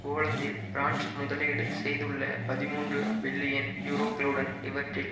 போலந்தில் பிரான்ஸ் முதலீடு செய்துள்ள பதிமூன்று பில்லியன் யூரோக்களுடன் இவற்றில்